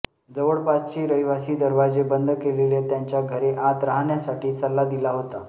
जवळपासची रहिवासी दरवाजे बंद केलेले त्यांच्या घरे आत राहण्यासाठी सल्ला दिला होता